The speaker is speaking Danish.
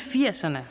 firserne